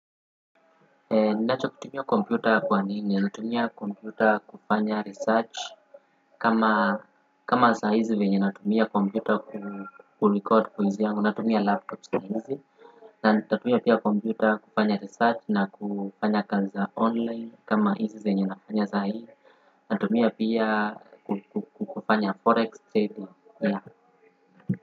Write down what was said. Ninachokutumia kompyuta kwa nini? Natumia kompyuta kufanya research. Kama saa hizi venye natumia kompyuta kurekodi kwa hizi yangu. Natumia laptop saa hizi. Na nitatumia pia kompyuta kufanya research na kufanya kazi za online. Kama hizi zenye nafanya zaa hii. Natumia pia kufanya forex trading.